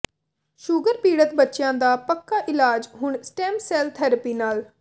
sugar ਪੀੜਤ ਬੱਚਿਆਂ ਦਾ ਪੱਕਾ ਇਲਾਜ ਹੁਣ ਸਟੈੱਮ ਸੈੱਲ ਥੈਰੇਪੀ ਨਾਲ